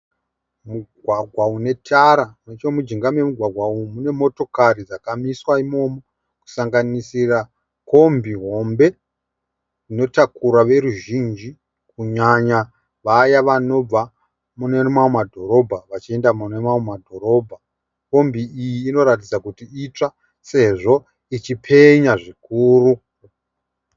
Mugwagwa unetara nechomujinga memugwagwa umu mune motokari dzakamiswa imomo, kusanganisira kombi hombe inotakura veruzhinji kunyanya vaya vanobva mune mamwe madhorobha vachienda mune mamwe madhorobha. Kombi iyi inoratidza kuti itsva sezvo ichipenya zvikuru.